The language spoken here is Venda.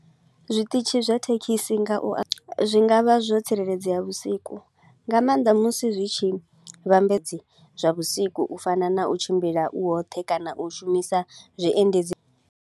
Zwiṱitshi zwa thekhisi nga u a, zwi nga vha zwo tsireledzea vhusiku. Nga maanḓa musi zwi tshi vhambedze zwa vhusiku u fana na u tshimbila u woṱhe kana u shumisa zwiendedzi.